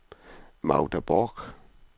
Magda Borch